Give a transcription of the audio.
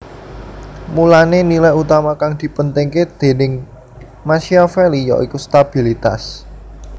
Mulané nilai utama kang dipentingké déning Machiavelli yaiku stabilitas